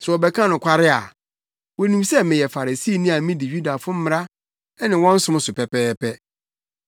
Sɛ wɔbɛka nokware a, wonim sɛ meyɛ Farisini a midi Yudafo mmara ne wɔn som so pɛpɛɛpɛ.